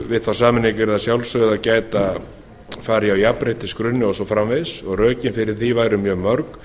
við þá sameiningu yrði að sjálfsögðu að fara í á jafnréttisgrunni og svo framvegis og rökin fyrir því væru mjög mörg